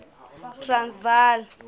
transvala